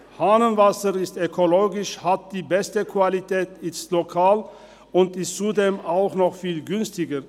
Hahnenwasser ist ökologisch, hat die beste Qualität, ist lokal und zudem auch noch viel günstiger.